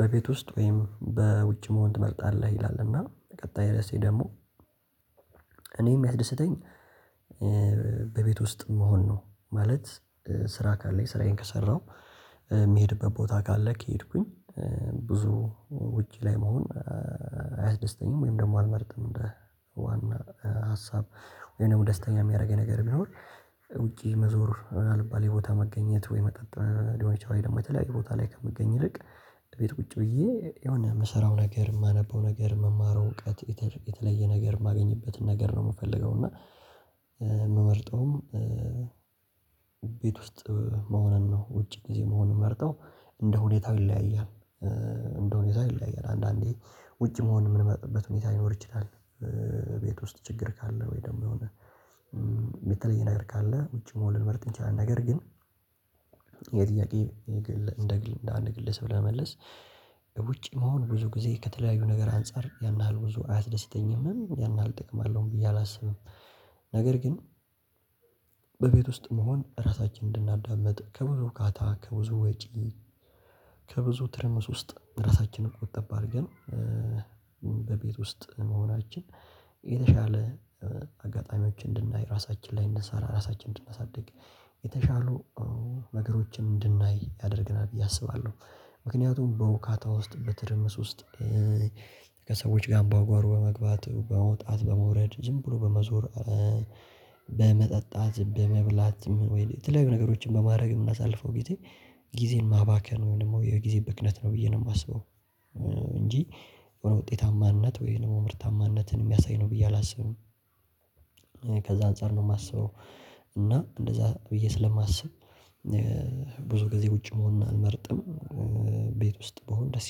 በቤት ውስጥ ወይም በውጭ መሆን ትመርጣለህ ይላል? እና ቀጣይ ረሴ ደግሞ እኔም የሚያስደስተኝ በቤት ውስጥ መሆን ነው ማለት ስራ ካለኝ ስራዬን ከሰራሁ የሚሄድበት ቦታ ካለ ከሄድኩኝ ብዙ ውጪ ላይ መሆን አያስደስተኝም ወይም ደግሞ አልመርጥም እንደ ዋና ሀሳብ ወይም ደስተኛ የሚያደርገኝ ነገር ቢኖር ውጪ መዞር አልባሌይ ቦታ መገኘት ወይ መጠጥ ሊሆን ይችላል የመተለያየ ቦታ ላይ ከምገኝ ይልቅ ቤት ቁጭ ብዬ የሆነ የምሰራው ነገር የማነበው ነገር የምማረው እውቀት የተለየ ነገር የማገኝበትን ነገር ነው የምፈልገው እና የምመርጠውም ቤት ውስጥ መሆንን ነው። ውጭ ጊዜ መሆንን መርጠው እንደ ሁኔታው ይለያያል እንደ ሁኔታው ይለያያል አንዳንዴ ውጭ መሆን ምን መርጥበት ሁኔታ ሊኖር ይችላል። ቤት ውስጥ ችግር ካለ ወይ ደግሞ የሆነ የተለየ ነገር ካለ ውጪ መሆን ልንመርጥ እንችላለን ነገር ግን የጥያቄ እንደ አንድ ግለስ ብለህ ለመመለስ ውጪ መሆን ብዙ ጊዜ ከተለያዩ ነገር አንፃር ያን ያህል ብዙ አያስደስተኝም ያን ያህል ጥቅም አለውም ብዬ አላስብም። ነገር ግን በቤት ውስጥ መሆን ራሳችንን እንድናዳምጥ ካታ ከብዙ ወጪ ከብዙ ትርምስ ውስጥ ራሳችንን ቆጠብ አድርገን በቤት ውስጥ መሆናችን የተሻለ አጋጣሚዎች እንድናይ ራሳችን ላይ እንድንሰራ ራሳችንን እንድናሳድግ የተሻሉ ነገሮችን እንድናይ ያደርግናል ብዬ አስባለሁ። ምክንያቱም በውካታ ውስጥ በትርምስ ውስጥ ከሰዎች ጋር አምባጓሮ በመግባት በመውጣት በመውረድ ዝም ብሎ በመዞር በመጠጣት በመብላት ወይ የተለያዩ ነገሮችን በማድረግ የምናሳልፈው ጊዜ ጊዜን ማባከን ወይም ደግሞ የጊዜ ብክነት ነው ብዬ ነው የማስበው እንጂ የሆነ ውጤታማነት ወይም ደግሞ ምርታማነትን የሚያሳይ ነው ብዬ አላስብም። ከዛ አንፃር ነው የማስበው እና እንደዛ ብዬ ስለማስብ ብዙ ጊዜ ውጪ መሆን አልመርጥም ቤት ውስጥ ብሆን ደስ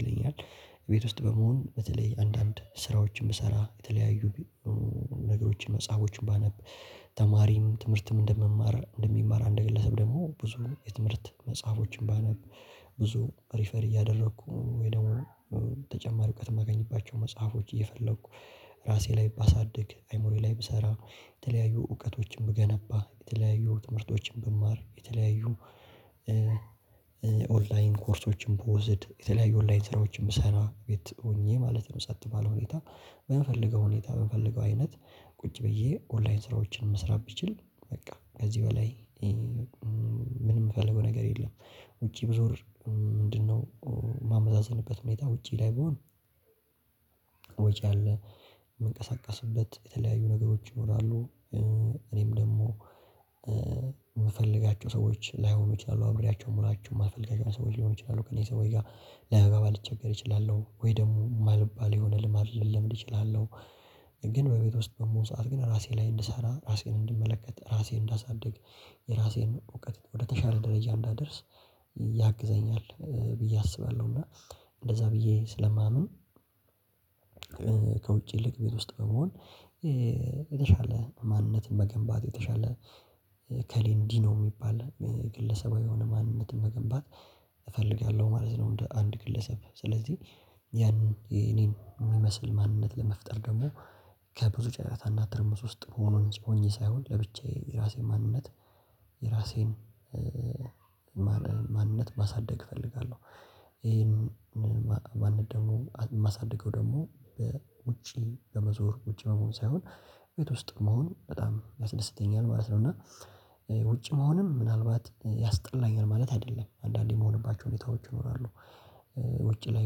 ይለኛል። ቤት ውስጥ በመሆን በተለይ አንዳንድ ስራዎችን ብሰራ የተለያዩ ነገሮችን መጽሐፎችን ባነብ ተማሪም ትምህርትም እንደምማር እንደሚማር አንደገለሰብ ደግሞ ብዙ የትምህርት መጽሐፎችን ባነብ ብዙ ሪፈር እያደረኩ ወይ ደግሞ ተጨማሪ እውቀት የማገኝባቸው መጽሐፎች እየፈለኩ ራሴ ላይ ባሳድግ አይምሮዬ ላይ ብሰራ የተለያዩ እውቀቶችን ብገነባ የተለያዩ ትምህርቶችን ብማር የተለያዩ ኦንላይን ኮርሶችን ብወስድ የተለያዩ ኦንላይን ሰራዊቶችን ብሰራ ቤት ሆኜ ማለት ነው ሰጥ ባለው ሁኔታ በምፈልገው ሁኔታ በምፈልገው አይነት ቁጭ ብዬ ኦንላይን ስራዎችን መስራት ብችል በቃ ከዚህ በላይ ምን የምፈልገው ነገር የለም። ውጪ ብዞር ምንድነው? የማመዛዝንበት ሁኔታ ውጪ ላይ ብሆን ወጪ አለ የምንቀሳቀስበት የተለያዩ ነገሮች ይኖራሉ። እኔም ደግሞ የምፈልጋቸው ሰዎች ላይሆኑ ይችላሉ አብሬያቸው መሆናቸው የማልፈልጋቸው ሰዎች ሊሆኑ ይችላሉ ከእኔ ሰዎች ጋር ለመጋባ ልቸገር እችላለሁ ወይ ደግሞ የማልባል የሆነ ልምድ አይደለም ልችል እችላለሁ ግን በቤት ውስጥ ደግሞ ሰዓት ግን ራሴ ላይ እንድሰራ ራሴን እንድመለከት ራሴን እንዳሳድግ የራሴን እውቀት ወደተሻለ ደረጃ እንዳደርስ ያግዘኛል ብዬ አስባለሁ እና እንደዛ ብዬ ስለማምን። ከውጭ ይልቅ ቤት ውስጥ በመሆን የተሻለ ማንነትን መገንባት የተሻለ እከሌ እንዲህ ነው የሚባል ግለሰባዊ የሆነ ማንነትን መገንባት እፈልጋለሁ ማለት ነው። እንደ አንድ ክልሰብ ስለዚህ ያን የኔን የሚመስል ማንነት ለመፍጠር ደግሞ ከብዙ ጨረታ እና ትርምስ ውስጥ መሆኑን ጭምር ሆኜ ሳይሆን ለብቻዬ የራሴ ማንነት የራሴን ማንነት ማሳደግ እፈልጋለሁ። ይሄን ማንነት ደግሞ ማሳደገው ደግሞ በውጪ በመዞር ውጪ በመሆን ሳይሆን ቤት ውስጥ መሆን በጣም ያስደስተኛል ማለት ነው እና ውጭ መሆንም ምናልባት ያስጠላኛል ማለት አይደለም አንዳንዴ የምሆንባቸው ሁኔታዎች ይኖራሉ። ውጪ ላይ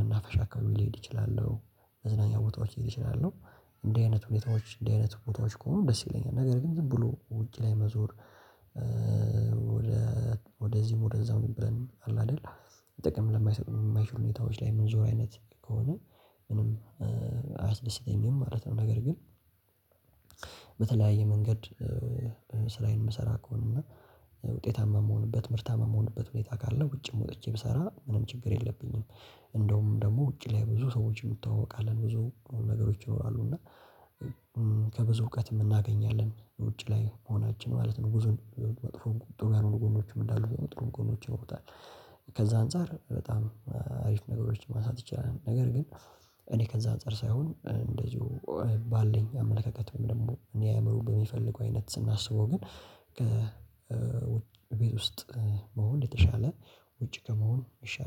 መናፈሻ አካባቢ ሊሄድ ይችላል መዝናኛ ቦታዎች ሊሄድ ይችላል እንዲህ አይነት ሁኔታዎች እንዲህ አይነት ቦታዎች ከሆኑ ደስ ይለኛል ነገር ግን ዝም ብሎ ውጪ ላይ መዞር ወደ ወደዚህም ወደዛም የሚበለን አለ አይደል ጥቅም ለማይሰጡ የማይችሉ ሁኔታዎች ላይ የምንዞር አይነት ከሆነ ምንም አያስደስተኝም ማለት ነው። ነገር ግን በተለያየ መንገድ ስራዬን የምሰራ ከሆነ እና ውጤታማ የምሆንበት ምርታማ የምሆንበት ሁኔታ ካለ ውጭም ወጥቼ ብሰራ ምንም ችግር የለብኝም። እንደውም ደግሞ ውጪ ላይ ብዙ ሰዎችን እትዋወቃለሁ ብዙ ነገሮች ይኖራሉ እና ከብዙ እውቀት የምናገኛለን ውጭ ላይ መሆናችን ማለት ነው ጉዞ ጥሩ ያልሆኑ ጎኖችም እንዳሉ ጥሩ ጎኖች ይኖሩታል። ከዛ አንፃር በጣም አሪፍ ነገሮችን ማንሳት ይችላል ነገር ግን እኔ ከዛ አንፃር ሳይሆን እንደዚሁ ባለኝ አመለካከት ወይም ደግሞ እኔ አእምሮን በሚፈልገው አይነት ስናስበው ግን ከቤት ውስጥ መሆን የተሻለ ውጭ ከመሆን የሻለ